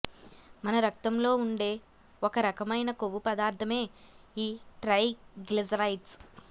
మన రక్తంలో ఉండే ఒకరకమైన కొవ్వు పదార్థమే ఈ ట్రైగ్లిజరైడ్స్